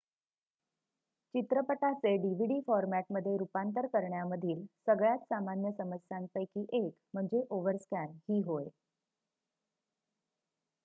चित्रपटाचे dvd फॉरमॅटमध्ये रूपांतरण करण्यामधील सगळ्यात सामान्य समस्यांपैकी एक म्हणजे ओव्हरस्कॅन ही होय